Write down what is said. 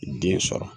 Den sɔrɔ